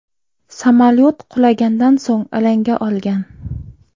Samolyot qulagandan so‘ng alanga olgan.